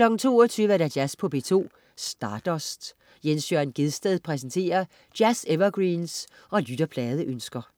22.00 Jazz på P2. Stardust. Jens Jørn Gjedsted præsenterer jazz-evergreens og lytterpladeønsker